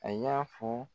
A y' fɔ